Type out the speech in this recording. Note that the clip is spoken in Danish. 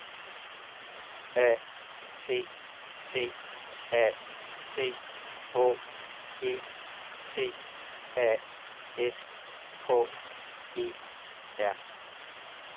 A T T A C H É T A S K E R